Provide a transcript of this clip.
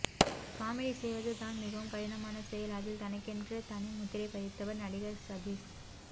comedy செய்வது தான் மிகவும் கடினமான செயல் அதில் தனக்கென்று தனி முத்திரை பதித்தவர் நடிகர் சதீஷ்